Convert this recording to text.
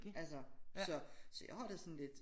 Altså så så jeg har det sådan lidt